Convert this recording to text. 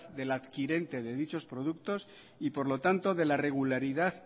de la adquirente de dichos productos y por lo tanto de la regularidad